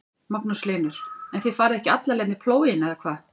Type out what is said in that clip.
Magnús Hlynur: En þið farið ekki alla leið með plóginn eða hvað?